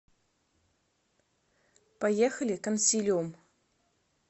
поехали консилиум